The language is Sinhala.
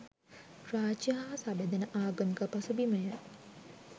රාජ්‍ය හා සබැඳෙන ආගමික පසුබිම ය.